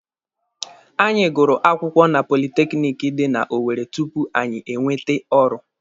Anyị gụrụ akwụkwọ na politekiniki dị na Owere tupu anyị enwete ọrụ.